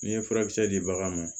N'i ye furakisɛ di bagan ma